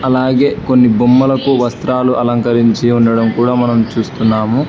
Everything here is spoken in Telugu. అలాగే కొన్ని బొమ్మలకు వస్త్రాలు అలంకరించి ఉండడం కూడా మనం చూస్తున్నాము.